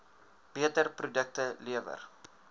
beter produkte lewer